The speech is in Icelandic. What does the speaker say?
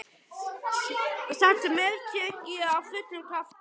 Samt meðtek ég af fullum krafti.